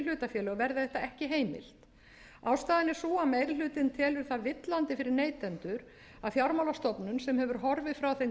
hlutafélög verði það ekki heimilt ástæðan er sú að meiri hlutinn telur það villandi fyrir neytendur að fjármálastofnun sem hefur horfið frá þeim